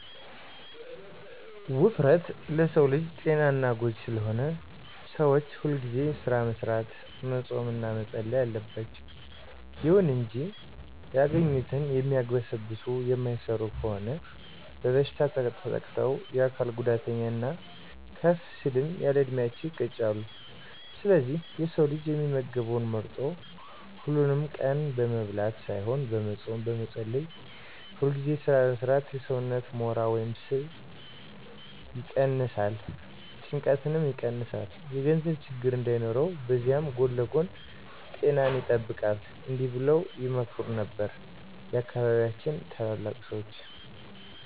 ውፍረት፦ ውፍረት ለሰው ልጅ ጤና ጎጂ ስለሆነ ሰዎች ሁልጊዜ ስራ መስራት፣ መፆም እና መፀለይ አለባቸው። ይሁን እንጂ ያገኙትን የሚያግበሰብሱ የማይሰሩ ከሆኑ በበሽታ ተጠቅተው የአካል ጉዳተኛ እና ከፍ ሲል ያለዕድሜያቸው ይቀጫሉ። ስለዚህ የሰው ልጅ የሚመገበውን መርጦ፣ ሀሉንም ቀን በመብላት ሳይሆን በመፆም፣ በመፀለይ፣ ሁልጊዜ ስራ በመስራት የሰውነትን ሞራ ወይም ስብ ይቀነስ፣ ጭንቀትን ይቀንሳል፣ የገንዘብ ችግር እንዳይኖር በዚያዉ ጎን ለጎን ጤናን ይጠብቃል። እዲህ በለዉ ይመክሩ ነበር የአካባቢያችን ታላላቅ ሰዎች።